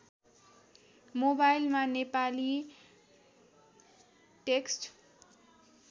मोवाइलमा Nepali text